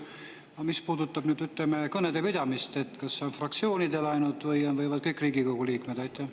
Aga mis puudutab kõnede pidamist, siis kas see õigus on fraktsioonidel ainult või võivad seda kõik Riigikogu liikmed?